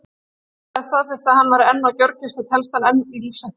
Félagið staðfesti að hann væri enn á gjörgæslu og telst hann enn í lífshættu.